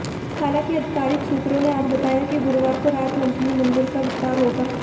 हालांकि आधिकारिक सूत्रों ने आज बताया कि गुरुवार को राज्य मंत्रिमंडल का विस्तार होगा